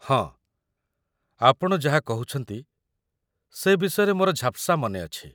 ହଁ, ଆପଣ ଯାହା କହୁଛନ୍ତି, ସେ ବିଷୟରେ ମୋର ଝାପ୍‌ସା ମନେଅଛି